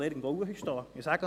das kann ich Ihnen sagen.